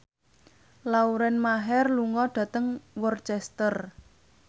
Lauren Maher lunga dhateng Worcester